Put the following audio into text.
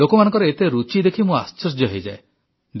ଲୋକମାନଙ୍କର ଏତେ ରୁଚି ଦେଖି ମୁଁ ଆଶ୍ଚର୍ଯ୍ୟ ହୋଇଯାଏ